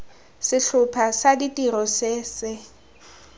setlhopha sa tiro se se